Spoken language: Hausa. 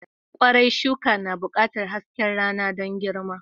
Kwarai, shuka na buƙatar haske rana don girma.